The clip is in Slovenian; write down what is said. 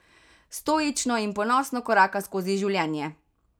Stoično in ponosno koraka skozi življenje.